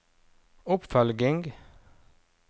oppfølging